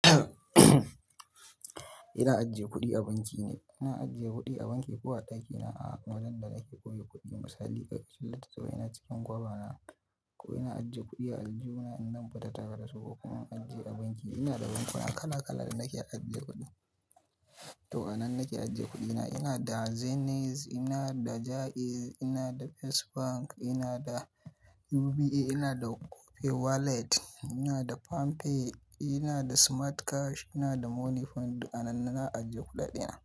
Ina ajiye kuɗi a banki ne. Ina ajiye kuɗi a banki, ko a ɗakina, a wajen da nake ƙuri kuɗi. Misali ƙarƙashin littattafai na cikin gwaiva na ko ina ajiye kuɗi a aljuhna in namba ta tada da su ko kuma ajiye a banki. Ina da bankuna kala-kala da nake ajiye kuɗi. To, anan nake ajiye kuɗi na? Ina da Zenith, ina da Jaiz, ina da First Bank, ina da UBA, ina da Opay wallet, ina da Palmpay, ina da Smart cash, ina da Moniepoint. Duk anan ne nake ajiye kuɗaɗi na.